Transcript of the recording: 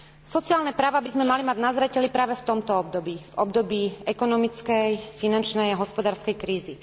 Sociálne práve by sme mali mať na zreteli práve v tomto období, v období ekonomickej, finančnej a hospodárskej krízy.